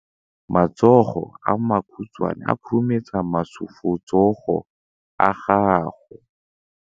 Matsogo a makhutshwane a khurumetsa masufutsogo a gago.